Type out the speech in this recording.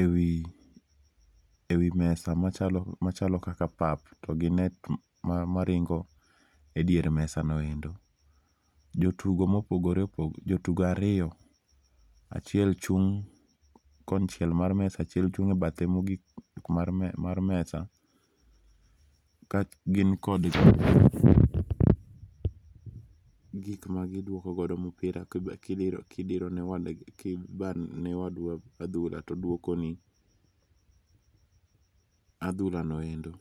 e wi mesa ma chalo kaka pap to gi net ma nindo e dier mesa no endo. Jo tugo ma opogore opogore, jo tugo ariyo, achiel chung' kony chiel mar mesa ,achiel chung' e bathe ma ogik mar mesa mar mesa ka gin kod gik ma gi dwoko godo mpira ki idire ne ki ibayo ne wadu adhula to odwoko ni adhula no endo.